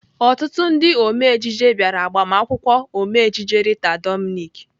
Ọtụtụ ndị ome ejije bịara agbamakwụkwọ Ome ejije Rita Dominic.